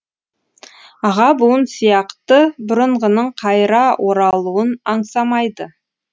аға буын сияқты бұрынғының қайыра оралуын аңсамайды